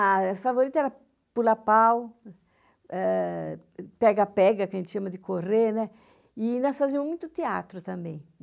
Ah as favorita era pular pau, eh, pega-pega, que a gente chama de correrné n ĵ II, e nós fazíamos muito tjneatro também.